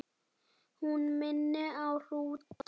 Hún minni á hrúta.